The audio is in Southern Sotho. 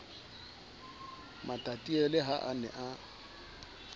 matatiele ha a ne a